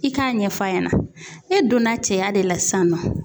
I k'a ɲɛf'a ɲɛna e donna cɛya de la sisan nɔ